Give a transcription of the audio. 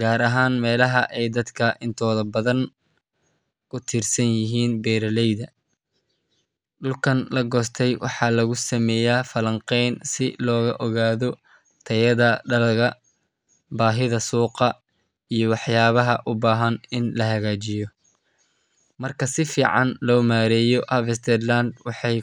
gaar ahaan meelaha ay dadka intooda badan ku tiirsan yihiin beeraleyda. Dhulkaan la goostay waxaa lagu sameeyaa falanqeyn si loo ogaado tayada dalagga, baahida suuqa, iyo waxyaabaha u baahan in la hagaajiyo. Marka si fiican loo maareeyo harvested land, waxay.